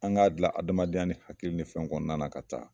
An k'a gilan adamadenya ni hakili ni fɛnw kɔnɔnanan ka taa